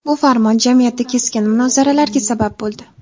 Bu farmon jamiyatda keskin munozaralarga sabab bo‘ldi.